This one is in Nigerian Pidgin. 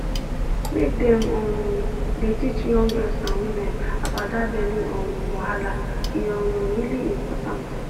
make dem um dey teach young girls and women about that belly um wahala e um really important